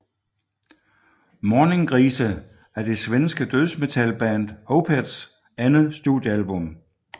Morningrise er det svenske dødsmetalband Opeths andet studiealbum